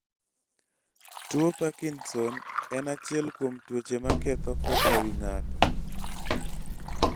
tuo Parkinson en echiel kuom tuoche ma ketho koka wi ng'ato